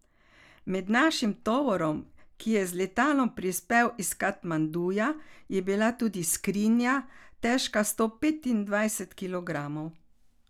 Med našim tovorom, ki je z letalom prispel iz Katmanduja, je bila tudi skrinja, težka sto petindvajset kilogramov.